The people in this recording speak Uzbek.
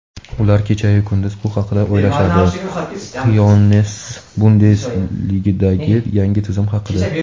ular kechayu kunduz bu haqida o‘ylashadi – Xyoness Bundesligadagi yangi tizim haqida.